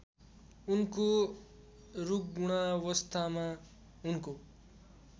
उनको रुग्णावस्थामा उनको